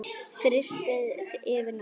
Frystið yfir nótt.